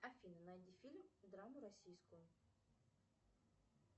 афина найди фильм драму российскую